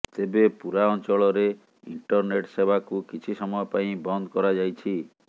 ତେବେ ପୁରା ଅଞ୍ଚଳରେ ଇଣ୍ଟରନେଟ୍ ସେବାକୁ କିଛି ସମୟ ପାଇଁ ବନ୍ଦ କରାଯାଇଛି